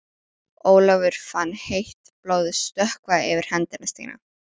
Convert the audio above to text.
Ólafur fann heitt blóðið stökkva yfir hendi sína.